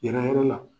Yɛrɛ yɔrɔ la